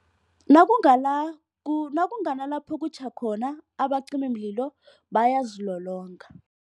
Nakunganalapho kutjha khona abacimimlilo bayazilolonga.